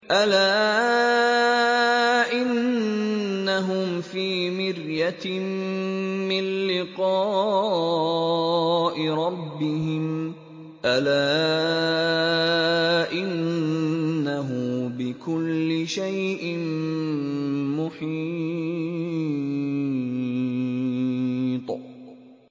أَلَا إِنَّهُمْ فِي مِرْيَةٍ مِّن لِّقَاءِ رَبِّهِمْ ۗ أَلَا إِنَّهُ بِكُلِّ شَيْءٍ مُّحِيطٌ